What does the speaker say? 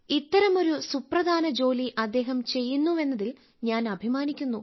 ഇത്തരമൊരു സുപ്രധാന ജോലി അദ്ദേഹം ചെയ്യുന്നുവെന്നതിൽ ഞാൻ അഭിമാനിക്കുന്നു